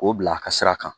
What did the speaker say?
K'o bila a ka sira kan